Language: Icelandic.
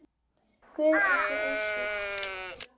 Guð er ekki ósvip